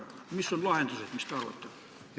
Mis on lahendused, mis te arvate?